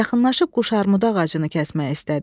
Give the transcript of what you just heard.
Yaxınlaşıb quşarmudu ağacını kəsmək istədi.